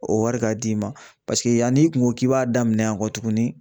O wari ka d'i ma paseke yann'i kun ko k'i b'a daminɛ yan kɔ tuguni